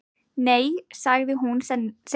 Nei, sagði hún seinlega.